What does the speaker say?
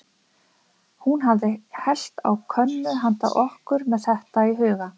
Hún hafi hellt á könnu handa okkur, með þetta í huga.